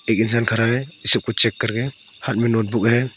एक इंसान खड़ा है ये सब कुछ चेक करके हाथ में नोटबुक है।